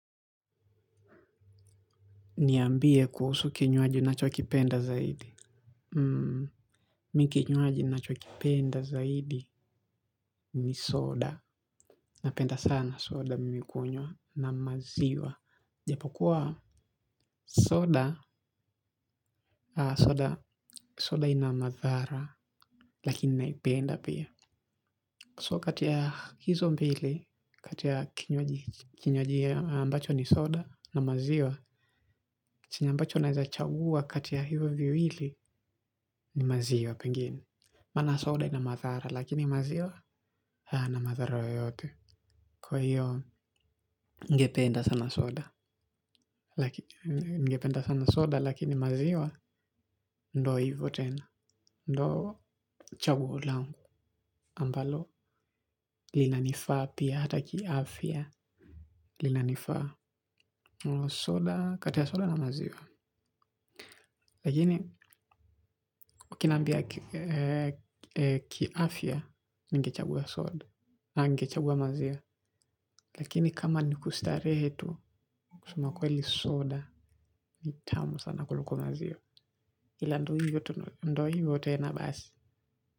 Niambie kuhusu kinywaji unachokipenda zaidi. Mi kinywaji nachokipenda zaidi ni soda. Napenda sana soda mimi kunywa na maziwa. Japokuwa soda, soda ina madhara lakini naipenda pia. So kati ya hizo mbili, kati ya kinywaji ambacho ni soda na maziwa. Chenye ambacho naeza chagua kati ya hivo viwili ni maziwa pengine. Mana soda ina mathara lakini maziwa hayana mathara yoyote. Kwa hiyo ngependa sana soda lakini maziwa ndo hivo tena. Ndo chaguo langu ambalo. Lina nifaa pia hata kiafya. Lina nifaa kati ya soda na maziwa. Lakini ukinambia kiafya ningechaguwa soda na ningechaguwa maziwa. Lakini kama nikustarehe tu, kusemakweli soda ni tamu sana kuluko maziwa. Ila ndoi yote na basi.